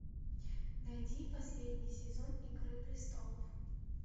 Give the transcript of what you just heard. найди последний сезон игры престолов